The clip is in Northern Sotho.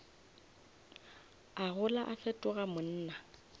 a gola a fetoga monna